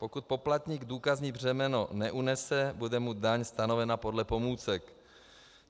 Pokud poplatník důkazní břemeno neunese, bude mu daň stanovena podle pomůcek.